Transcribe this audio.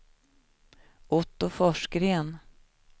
Otto Forsgren